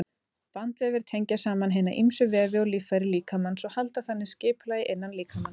Bandvefir tengja saman hina ýmsu vefi og líffæri líkamans og halda þannig skipulagi innan líkamans.